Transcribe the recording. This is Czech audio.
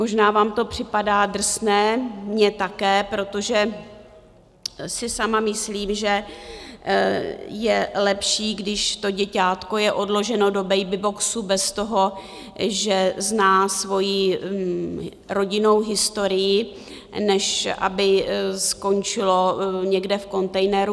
Možná vám to připadá drsné, mně také, protože si sama myslím, že je lepší, když to děťátko je odloženo do babyboxu bez toho, že zná svoji rodinnou historii, než aby skončilo někde v kontejneru.